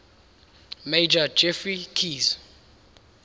major geoffrey keyes